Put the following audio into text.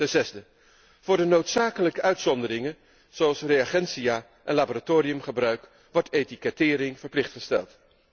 Ten zesde, voor de noodzakelijke uitzonderingen, zoals reagentia en laboratoriumgebruik, wordt etikettering verplicht gesteld.